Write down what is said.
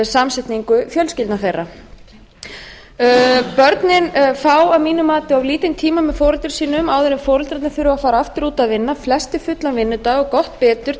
samsetningu fjölskyldna þeirra börnin fá að mínu mati of lítinn tíma með foreldrum sínum áður en foreldrarnir þurfa að fara aftur út að vinna flestir fullan vinnudag og gott betur